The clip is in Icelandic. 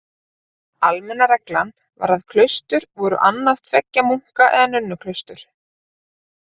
Almenna reglan var að klaustur voru annað tveggja munka- eða nunnuklaustur.